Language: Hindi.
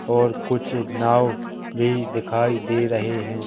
और कुछ नाव भी दिखाई दे रहे हैं।